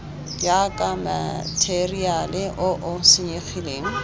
jaaka matheriale o o senyegileng